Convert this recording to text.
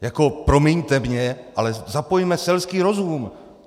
Jako promiňte mně, ale zapojme selský rozum!